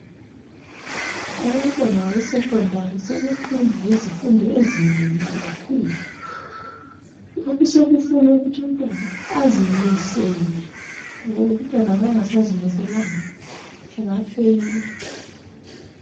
Abantwana be sekhendari sebefunda izifundo ezinengi kakhulu. Okusekufuna ukuthi umntwana azimisele, ngoba umntwana ma engasazimiselanga, engafeyila.